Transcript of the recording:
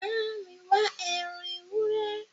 Bámi wá ẹran ewúrẹ́